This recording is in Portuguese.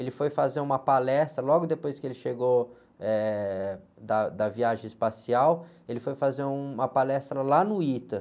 Ele foi fazer uma palestra, logo depois que ele chegou, eh, da, da viagem espacial, ele foi fazer uma palestra lá no ita.